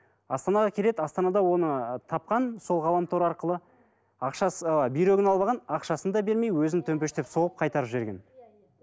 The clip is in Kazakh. астанаға келеді астанада оны тапқан сол ғаламтор арқылы ақшасы ы бүйрегін алып алған ақшасын да бермей өзін төмпештеп соғып қайтарып жіберген